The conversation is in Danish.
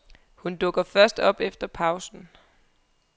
Hun dukker først op efter pausen.